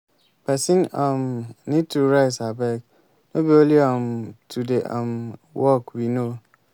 una no know say una go dey show gratitude to god by celebrating for the one he give una